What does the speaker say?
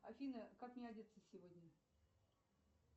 афина как мне одеться сегодня